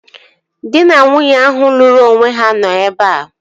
Dị na nwunye ahụ lụrụ onwe ha nọ ebea